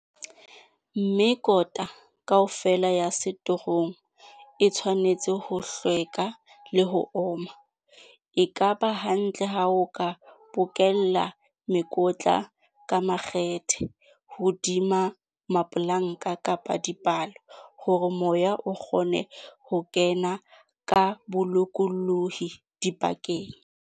Mekota kaofela ya setorong e tshwanetse ho hlweka le ho oma. E k aba hantle ha o ka bokella mekotla ka makgethe hodima mapolanka kapa dipalo hore moya o kgone ho ken aka bolokolohi dipakeng.